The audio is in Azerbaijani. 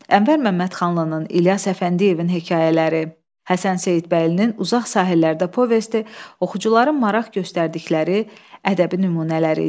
Ənvər Məmmədxanlının İlyas Əfəndiyevin hekayələri, Həsən Seyidbəylinin Uzaq Sahillərdə povesti oxucuların maraq göstərdikləri ədəbi nümunələri idi.